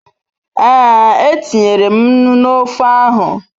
Ee, e tinyere m nnu n'ofe ahu